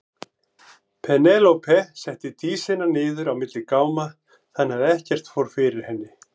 Penélope setti Dísina niður á milli gáma þannig að ekkert fór fyrir henni.